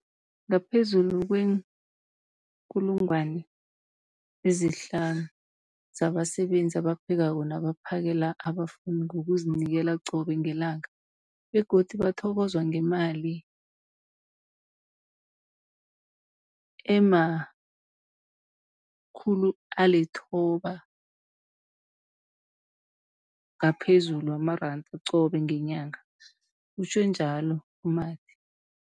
50 000 zabasebenzi abaphekako nabaphakela abafundi ngokuzinikela qobe ngelanga, begodu bathokozwa ngemali ema-960 wamaranda qobe ngenyanga, utjhwe njalo u-Mathe.